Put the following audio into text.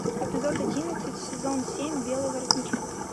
эпизод одиннадцать сезон семь белый воротничок